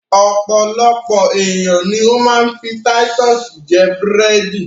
Ọpọ̀lọpọ̀ ènìyàn ni ó ma ń fi Titus jẹ búrẹ̀dì